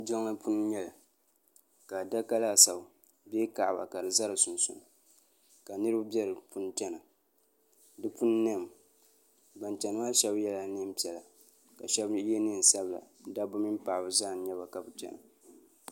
Jiŋli puuni n nyɛli ka adaka laasabu bee kaɣaba ka di za di sunsuuni ka niriba bɛ di puuni chana di puuni niɛmi ban chana maa shɛba yɛla niɛn piɛla ka shɛba yɛ niɛn sabila dabba mini paɣaba zaa n nyɛba ka bi chana.